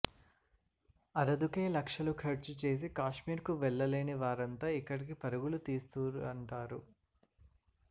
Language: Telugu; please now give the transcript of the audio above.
అరదుకే లక్షలు ఖర్చు చేసి కాశ్మీర్కు వెళ్లలేని వారంతా ఇక్కడికి పరుగులు తీస్తురటారు